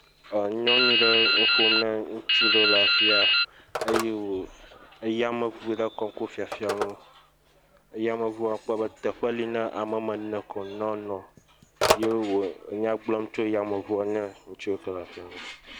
Enyɔnu ɖe nuƒom na ŋutsu ɖewo le afi ya eye wo, eye yameŋu ɖe kɔm fiafiam wo eye yameŋu kpɔ be teƒe li na ame woame ene ko ne woanɔ ye wole nya gblɔm na ŋutsua tso yameŋua ŋu.